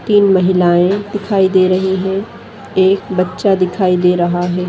तीन महिलायें दिखाई दे रही हैं एक बच्चा दिखाई दे रहा है।